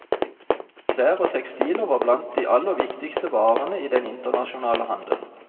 Klær og tekstiler var blant de aller viktigste varene i den internasjonale handelen.